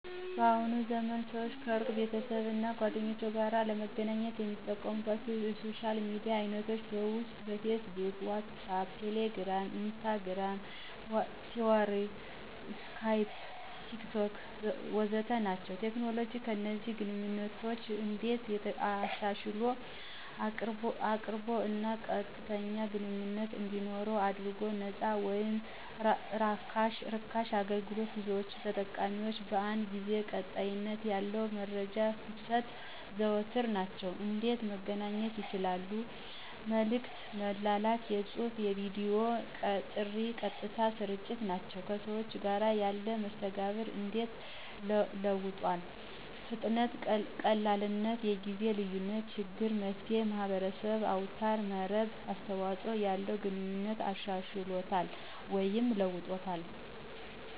በአሁኑ ዘመን ሰዎች ከሩቅ ቤተሰብ እና ጓደኞቸው ጋር ለመገናኘት የሚጠቀሙባቻው የሶሻል ሚዲያ አይነቶች ውስጥ፦ ፌስቡክ፣ ዋትሳአፕ፣ ቴሌግራም፣ ኢንስታግርም፣ ትዊተር፣ ስካይፕ፣ ቴክቶክ... ወዘተ ናቸው። ቴክኖሎጂ ከእነዚህን ግንኘነቶች እንዴት አሻሻሏል? ቅርብ እና ቀጥተኛ ግንኝነት እንዲኖረው አድርጎል፣ ነፃ ወይም ራካሽ አገልግሎት፣ ብዙዎች ተጠቃሚዎች በአንድ ጊዜ፣ ቀጣይነት ያለው የመረጃ ፍሰት... ወዘተ ናቸው። እንዴት በመገናኛት ይቻላል? መልክት በመላክ፣ የድምፅና የቪዲዮ ጥሪ፣ ቀጥታ ስርጭት ናቸው። ከሰዎቹ ጋር ያለው መስተጋብር እንዴት ለውጦታል ? ፍጥነትና ቀላልነት፣ የጊዜ ልዪነት ችግር መፍትሔ፣ የማህበረሰብ አውታር መረብ አስተዋጽኦ ያለውን ግንኙነት አሻሽሎታል ወይም ለውጦታል።